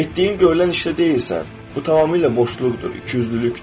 Etdiyin görülən işdə deyilsən, bu tamamilə boşluqdur, ikiyüzlülükdür.